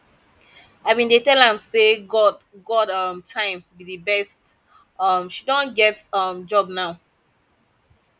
i bin dey tell am say god god um time be the best um she don get um job now